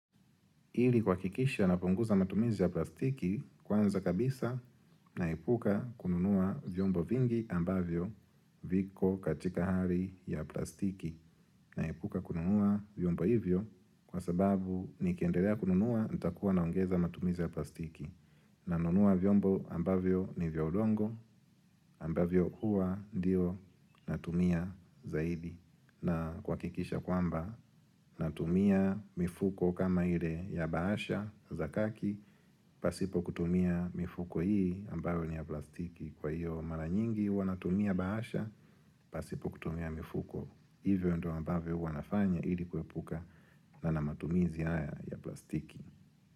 Ili kuha kikisha na punguza matumizi ya plastiki kwanza kabisa naepuka kununua vyombo vingi ambavyo viko katika hali ya plastiki. Naepuka kununua vyombo hivyo kwa sababu nikiendelea kununua nitakuwa na ongeza matumizi ya plastiki. Na nunua vyombo ambavyo ni vyaudongo ambavyo hua ndio natumia zaidi. Na kuha kikisha kwamba natumia mifuko kama ile ya bahasha zakaki pasipo kutumia mifuko hii ambayo ni ya plastiki Kwa hiyo mara nyingi huwanatumia bahasha pasipo kutumia mifuko Hivyo ndo ambayo huwanafanya ili kuepuka na namatumizi haya ya plastiki.